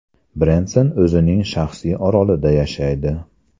Brenson o‘zining shaxsiy orolida yashaydi.